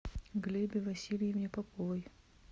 глебе васильевне поповой